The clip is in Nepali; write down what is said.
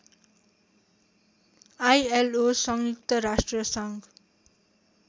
आईएलओ संयुक्त राष्ट्रसङ्घ